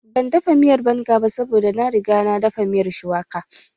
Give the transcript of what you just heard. Ban dafa miyar banga ba saboda na riga na dafa miyar shuwaka